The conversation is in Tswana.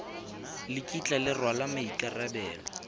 le kitla le rwala maikarabelo